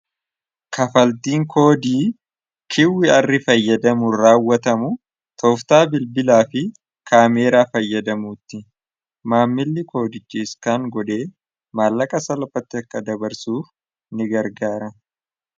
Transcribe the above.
Kaffaltiin koodii QR fayyadamuun raawwatama tooftaa bilbilaafi kaameraa fayyadamuuti maamilli koodicha scan godhee maallaqa San ofiitti akka dabarsu nigargaara